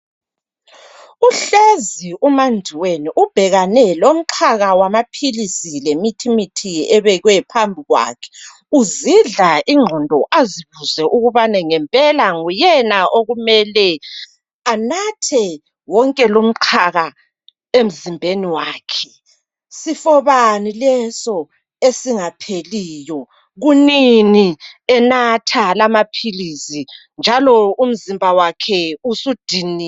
Uhlezi umaNdiweni ubhekane lomxhaka wamaphilisi lemithimithi ebekwe phambi kwakhe uzidla inqondo azibuze ukubana ngempela nguyena okumele anathe wonke lumxhaka emzimbeni wakhe sifo bani leso esingapheliyo kunini enatha lamaphilisi njalo umzimba wakhe usudiniwe.